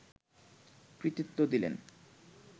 কৃতিত্ব দিলেন